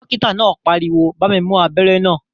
Dókítà náà pariwo "bá mi mú abẹ́rẹ́ náà